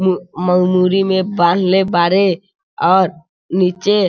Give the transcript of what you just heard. म-मुड़ी में बांधले बाड़े और निचे --